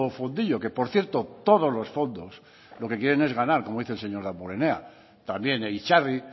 fondillo que por cierto todos los fondos lo que quieren es ganar como dice el señor damborenea también itzarri